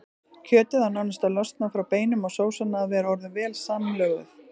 Kjötið á nánast að losna frá beinum og sósan að vera orðin vel samlöguð.